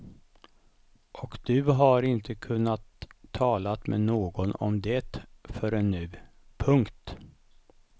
Och du har inte kunnat tala med någon om det förrän nu. punkt